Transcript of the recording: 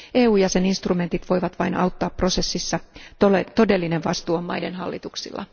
EU jäseninstrumentit voivat vain auttaa prosessissa, todellinen vastuu on maiden hallituksilla.